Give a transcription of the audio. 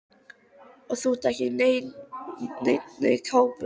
Og þú ert ekki í neinni kápu.